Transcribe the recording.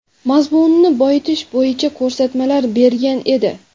mazmunini boyitish bo‘yicha ko‘rsatmalar bergan edi.